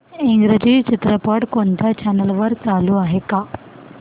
इंग्रजी चित्रपट कोणत्या चॅनल वर चालू आहे का